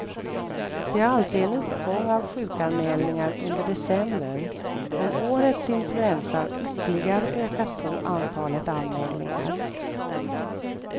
Det är alltid en uppgång av sjukanmälningar under december, men årets influensa har ytterligare ökat på antalet anmälningar.